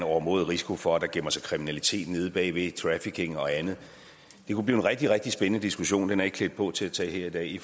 overmåde risiko for at der gemmer sig kriminalitet bag trafficking og andet det kunne blive en rigtig rigtig spændende diskussion men er ikke klædt på til at tage her i dag i